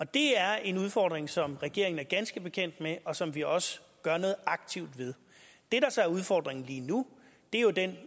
det er en udfordring som regeringen er ganske bekendt med og som vi også gør noget aktivt ved det der så er udfordringen lige nu er jo den